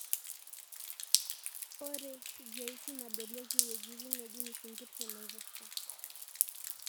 ore GIS nadolieki iwuejitin neejing'isinkir tenaiposha.